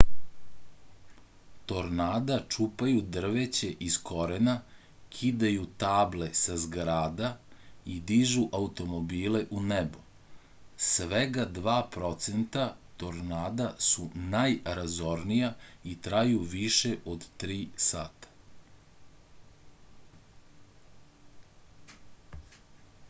tornada čupaju drveće iz korena kidaju table sa zgrada i dižu automobile u nebo svega dva procenta tornada su najrazornija i traju više od tri sata